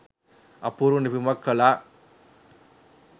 අපූරු නිපැයුමක් කලා